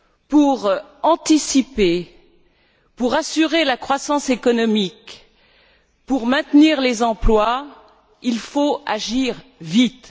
Pour anticiper, pour assurer la croissance économique, pour maintenir les emplois, il faut agir vite.